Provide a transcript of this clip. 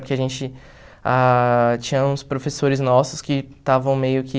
Porque a gente ah... Tinha uns professores nossos que estavam meio que...